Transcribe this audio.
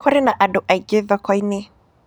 Kũrĩ na andũ aingĩ thoko-inĩ.